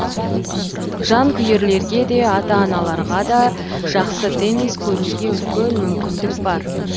жанкүйерлерге де ата аналарға да жақсы теннис көруге үлкен мүмкіндік